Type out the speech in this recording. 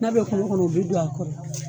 N'a bɛ kungo kɔnɔ u bɛ don a kɔrɔ.